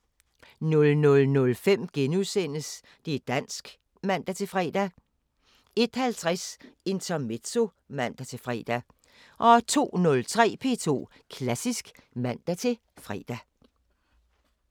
00:05: Det´ dansk *(man-fre) 01:50: Intermezzo (man-fre) 02:03: P2 Klassisk (man-fre)